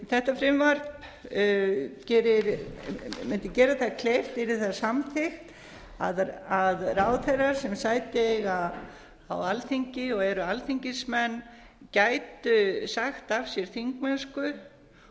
þetta frumvarp mundi gera það kleift yrði það samþykkt að ráðherrar sem sæti eiga á alþingi og eru alþingismenn gætu sagt af sér þingmennsku